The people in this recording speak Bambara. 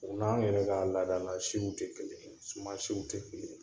O n'anw yɛrɛ ka laadala siw tɛ kelen, suman siw tɛ kelen ye